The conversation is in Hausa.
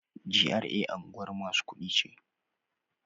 GRA unguwar masu kuɗi ce.